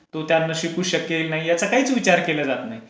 तो त्यांना शिकवू शकेल नाही, त्याचं काहीच विचार केला जात नाही.